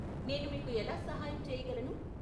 నేను మీకు ఎలా సహాయం చేయగలను?